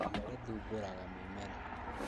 Riia rĩthumbũraga mimera